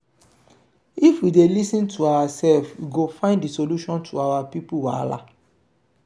if we dey lis ten to oursef we go find solution to our pipo wahala.